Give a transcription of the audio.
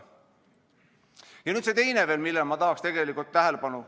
Palun pikendust!